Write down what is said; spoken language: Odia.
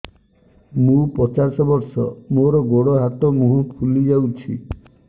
ମୁ ପଚାଶ ବର୍ଷ ମୋର ଗୋଡ ହାତ ମୁହଁ ଫୁଲି ଯାଉଛି